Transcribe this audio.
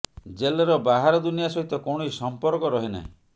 ଜେଲ୍ର ବାହାର ଦୁନିଆ ସହିତ କୌଣସି ସଂପର୍କ ରହେ ନାହିଁ